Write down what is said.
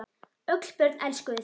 Öll börn elskuðu þig.